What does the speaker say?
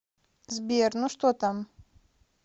сбер ну что там